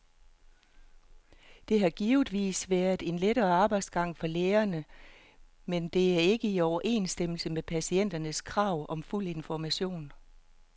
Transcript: Dette har givetvis været en lettere arbejdsgang for lægerne, men det er ikke i overensstemmelse med patienternes krav om fuld information.